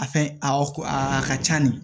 A fɛn awɔ a ka ca nin